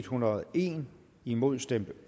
hundrede og en imod stemte